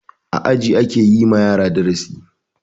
A aji ake yi ma yara darasi.